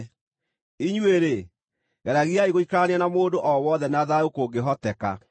Inyuĩ-rĩ, geragiai gũikarania na mũndũ o wothe na thayũ kũngĩhoteka.